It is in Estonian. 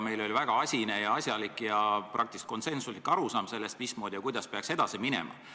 Meil oli väga asine ja asjalik ja praktiliselt konsensuslik arusaam, mismoodi ja kuidas peaks edasi minema.